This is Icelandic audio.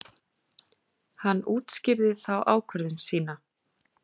Hann útskýrði þá ákvörðun sína.